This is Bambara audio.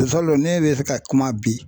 ne bɛ se ka kuma bi.